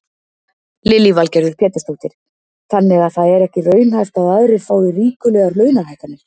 Lillý Valgerður Pétursdóttir: Þannig að það er ekki raunhæft að aðrir fái ríkulegar launahækkanir?